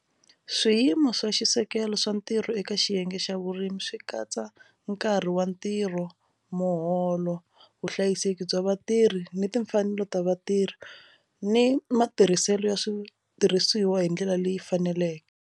Swiyimo swa xisekelo swa ntirho eka xiyenge xa vurimi swi katsa nkarhi wa ntirho muholo vuhlayiseki bya vatirhi ni timfanelo ta vatirhi ni matirhiselo ya switirhisiwa hi ndlela leyi faneleke.